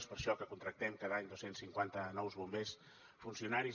és per això que contractem cada any dos cents i cinquanta nous bombers funcionaris